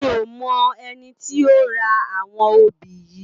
Mi ó mò èni ti ó rá áwòn óbi yi